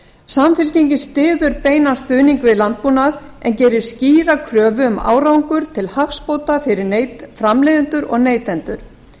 samfylkingin styður beinan stuðning við landbúnað en gerir skýra kröfu um árangur til hagsbóta fyrir framleiðendur og neytendur